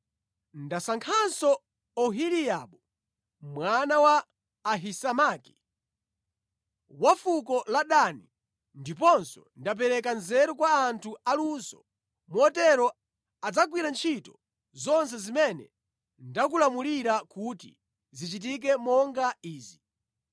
Ndasankhanso Oholiabu mwana wa Ahisamaki wa fuko la Dani. Ndiponso ndapereka nzeru kwa anthu aluso motero adzagwira ntchito zonse zimene ndakulamulira kuti zichitike monga izi: